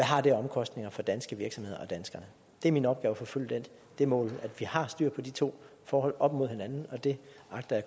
har af omkostninger for danske virksomheder og danskerne det er min opgave at forfølge det mål at vi har styr på de to forhold op mod hinanden og det agter